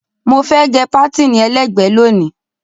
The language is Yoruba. Mo fẹ́ gẹ pátìnì ẹlẹ́gbẹ̀ẹ́ lónìí.